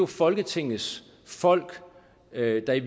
folketingets folk der i